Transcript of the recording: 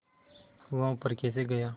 वह ऊपर कैसे गया